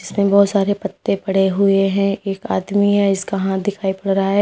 इसमें बहोत सारे पत्ते पड़े हुए हैं एक आदमी है इसका हाथ दिखाई पड़ रहा है।